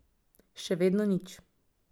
Še vedno nič.